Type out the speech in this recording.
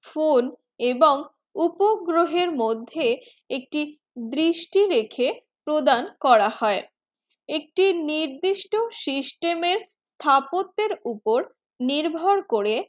phone এবং উপগ্রহ মধ্যে এক টি দৃষ্টি রেখে প্রদান করা হয়ে একটি নির্দেশ system এ স্টেপটা উপর নির্ভর করে